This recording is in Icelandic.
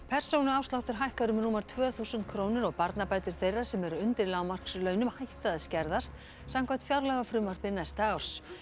persónuafsláttur hækkar um rúmar tvö þúsund krónur og barnabætur þeirra sem eru undir lágmarkslaunum hætta að skerðast samkvæmt fjárlagafrumvarpi næsta árs